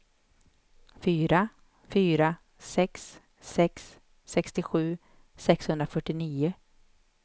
fyra fyra sex sex sextiosju sexhundrafyrtionio